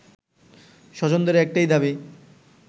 স্বজনদের একটাই দাবি